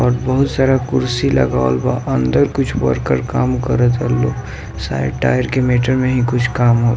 और बहुत सारा कुर्सी लगवाल बा अंदर कुछ वोर्कर काम करता षड तयार के --